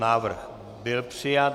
Návrh byl přijat.